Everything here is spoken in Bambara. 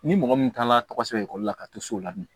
Ni mɔgɔ min taara tɔgɔ sɛbɛn ekɔli la ka to so la bi